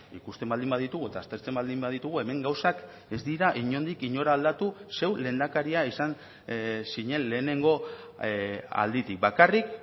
ikusten baldin baditugu eta aztertzen baldin baditugu hemen gauzak ez dira inondik inora aldatu zuk lehendakaria izan zinen lehenengo alditik bakarrik